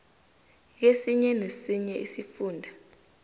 kesinye nesinye isifunda